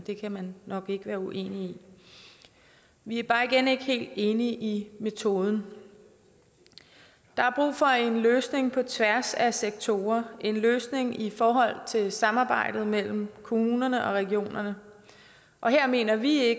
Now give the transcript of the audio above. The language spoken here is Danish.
det kan man nok ikke være uenig i vi er bare igen ikke helt enige i metoden der er brug for en løsning på tværs af sektorer en løsning i forhold til samarbejdet mellem kommunerne og regionerne og her mener vi